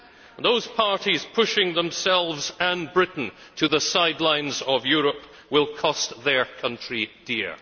And those parties pushing themselves and Britain to the sidelines of Europe will cost their country dear.